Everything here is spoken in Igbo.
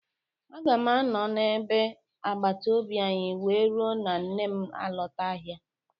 Aga m anọ na bé agbataobi anyị wee ruo na nne m alọta ahịa.